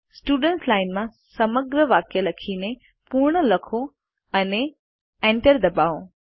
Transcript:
students line માં સમગ્ર વાક્ય લખીને પૂર્ણ લખો અને Enter દબાવો